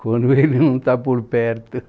Quando ele não está por perto.